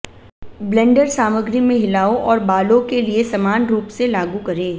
blender सामग्री में हिलाओ और बालों के लिए समान रूप से लागू करें